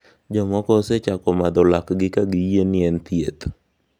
Jomoko osechako madho lakgi ka giyie ni en thieth